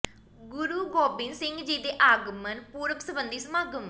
ਗੁਰੂ ਗੋਬਿੰਦ ਸਿੰਘ ਜੀ ਦੇ ਆਗਮਨ ਪੁਰਬ ਸਬੰਧੀ ਸਮਾਗਮ